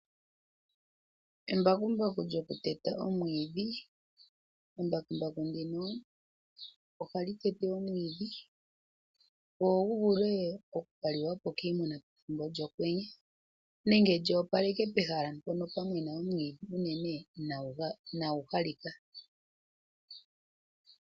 Embakumbaku lyokuteta omwiidhi, embakumbaku ndino oha li tete omwiidhi gwo gu vule oku ka liwa po kiimuna pethimbo lyOkwenye nenge lyi opaleke pehala mpono pwa mena omwiidhi unene inaa gu halika.